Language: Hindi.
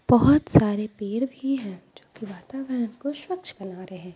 बहुत सारे पेड़ भी हैं जो कि वातावरण को स्वच्छ बना रे है।